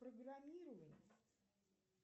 программирование